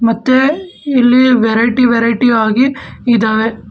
ಮತ್ತುವೆ ಇಲ್ಲಿ variety variety ಆಗಿ ಇದಾವೆ.